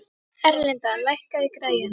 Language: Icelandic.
Erlinda, lækkaðu í græjunum.